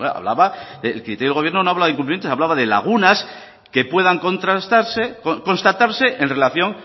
hablaba de lagunas que puedan constatarse en relación